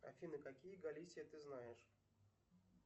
афина какие галисия ты знаешь